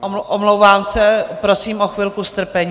Omlouvám se, prosím o chvilku strpení.